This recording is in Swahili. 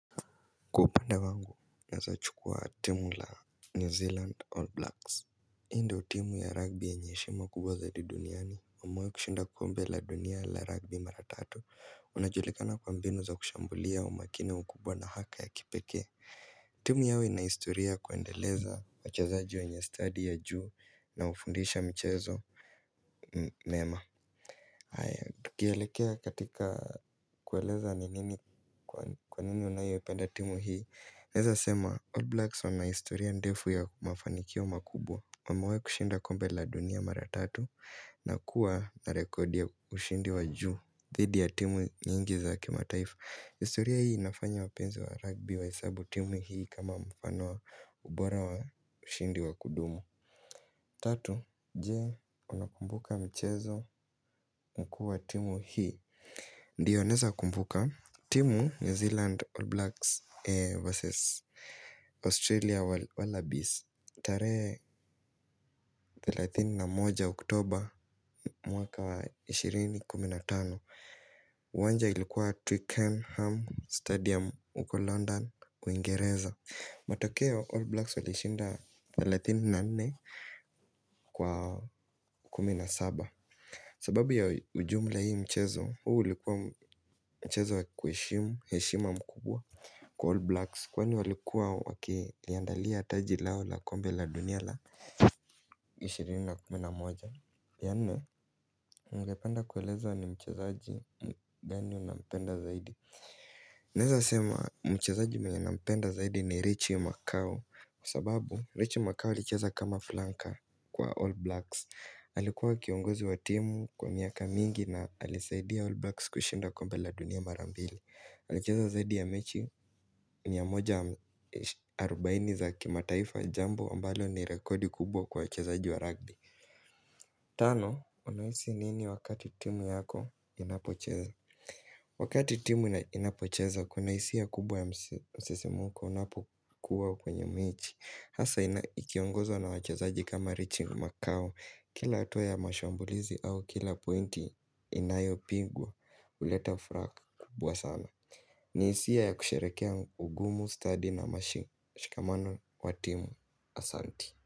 Kwa upande wangu naweza chukua timu la New Zealand All Blacks. Hii ndio timu ya rugby yenye heshima kubwa zaidi duniani. Wamewahi kushinda kombe la dunia la rugby mara tatu. Unajulikana kwa mbinu za kushambulia, umakini, ukubwa na haka ya kipekee. Timu yao ina historia ya kuendeleza wachezaji wenye stadi ya juu na hufundisha michezo mema. Haya, tukielekea katika kueleza ni nini kwa nini unayoipenda timu hii, naeza sema, All Blacks wana historia ndefu ya mafanikio makubwa. Wamewahi kushinda kombe la dunia mara tatu na kuwa na rekodi ya ushindi wa juu. Zaidi ya timu nyingi za kimataifa. Historia hii inafanya wapenzi wa rugby wahesabu timu hii kama mfano wa ubora wa ushindi wa kudumu. Tatu, je unakumbuka michezo mkuu wa timu hii? Ndio naeza kumbuka. Timu New Zealand All Blacks vs Australia Wallabies. Tarehe 31 Oktober mwaka ishirini kumi na tano, uwanja ilikuwa Twickenham Stadium huko London Uingereza. Matokeo All Blacks walishinda 34 kwa 17. Sababu ya ujumla hii mchezo, huu ulikuwa mchezo wa kwa heshima mkubwa kwa All Blacks, Kwani walikuwa wakiliandalia taji lao la kombe la dunia la ishirini na kumi na moja, ya nne, ningependa kueleza ni mchezaji gani unampenda zaidi. Naeza sema mchezaji mwenye nampenda zaidi ni Richie Macao Kwa sababu Richie Macao alicheza kama flanka kwa All Blacks Alikuwa kiongozi wa timu kwa miaka mingi na alisaidia All Blacks kushinda kombe la dunia mara mbili. Alicheza zaidi ya mechi mia moja arobaini za kimataifa, jambo ambalo ni rekodi kubwa kwa wachezaji wa rugby. Tano, unahisi nini wakati timu yako inapocheza? Wakati timu inapocheza kuna hisia kubwa ya msisimuko unapokuwa kwenye mechi. Hasa ikiongozwa na wachezaji kama Richie Macau. Kila hatua ya mashambulizi au kila pointi inayo pingwa huleta furaha kubwa sana. Ni hisia ya kusherehekea ugumu, stadi na mashikamano wa timu. Asanti.